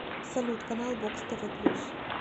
салют канал бокс тв плюс